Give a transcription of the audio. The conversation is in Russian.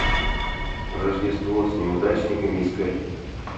рождество с неудачниками искать